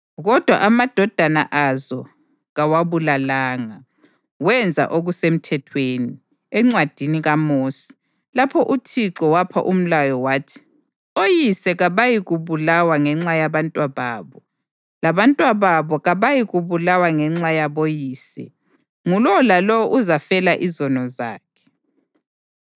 + 25.4 UDutheronomi 24.16Kodwa amadodana azo kawabulalanga, wenza okuseMthethweni, eNcwadini kaMosi, lapho uThixo wapha umlayo wathi: “Oyise kabayikubulawa ngenxa yabantwababo, labantwababo kabayikubulawa ngenxa yaboyise; ngulowo lalowo uzafela izono zakhe.”